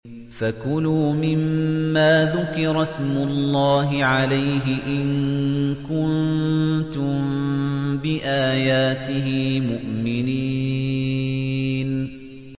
فَكُلُوا مِمَّا ذُكِرَ اسْمُ اللَّهِ عَلَيْهِ إِن كُنتُم بِآيَاتِهِ مُؤْمِنِينَ